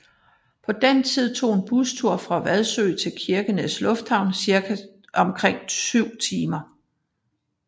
På den tid tog en bustur fra Vadsø til Kirkenes Lufthavn omkring syv timer